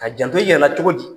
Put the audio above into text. Ka janto i yɛrɛ la cogo di?